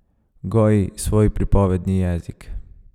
Goji svoj pripovedni jezik.